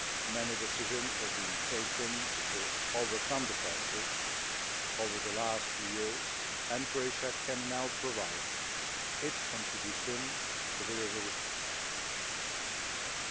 Many decisions have been taken to overcome the crisis over the last few years, and Croatia can now provide its contribution to resolving it.